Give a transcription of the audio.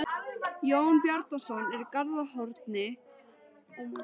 Jón Bjarnason í Garðshorni, Jón Sigurðsson á Ystafelli, Steingrímur